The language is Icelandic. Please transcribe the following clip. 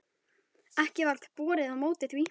Ekki varð borið á móti því.